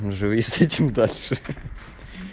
живи с этим дальше